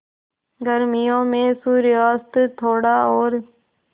गर्मियों में सूर्यास्त थोड़ा और